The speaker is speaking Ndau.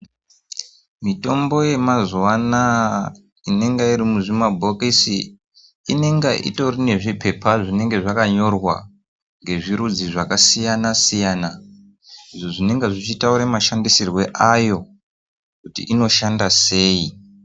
Mitombo yemazuva anaya inonga iri muzvi mabhokosi inonga ine zvipepa zvakanyorwa ngezvirudzi zvakasiyana siyana izvo zvinonga zvichitaura mashandisirwe ayo kuti inoshanda seii.